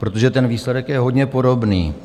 Protože ten výsledek je hodně podobný.